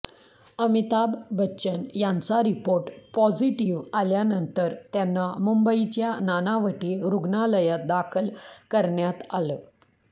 अमिताभ बच्चन यांचा report positive आल्यानंतर त्यांना मुंबईच्या नानावटी रुग्णालयात दाखल करण्यात आलं